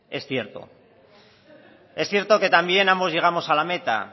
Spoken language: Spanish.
es cierto es cierto que también ambos llegamos a la meta